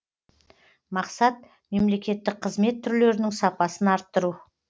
мақсат мемлекеттік қызмет түрлерінің сапасын арттыру